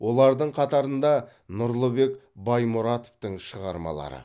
олардың қатарында нұрлыбек баймұратовтың шығармалары